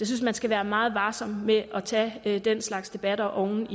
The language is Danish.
synes man skal være meget varsom med at tage den slags debatter oven